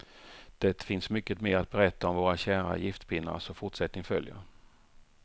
Det finns mycket mer att berätta om våra kära giftpinnar, så fortsättning följer.